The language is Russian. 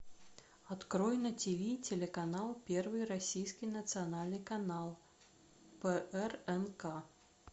открой на тиви телеканал первый российский национальный канал прнк